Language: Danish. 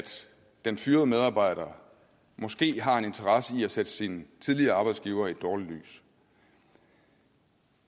den fyrede medarbejdere måske har en interesse i at sætte sin tidligere arbejdsgiver i et dårligt lys